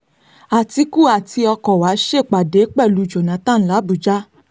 àtìkù àti ọkọ̀wà ṣèpàdé pẹ̀lú jonathan làbójà